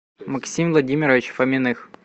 максим владимирович фоминых